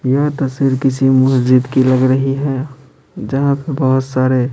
यह तस्वीर किसी मस्जिद की लग रही है जहाँ पर बहुत सारे --